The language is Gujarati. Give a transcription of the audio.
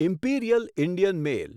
imperial Indian mail